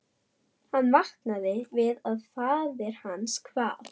Hann vaknaði við að faðir hans kvað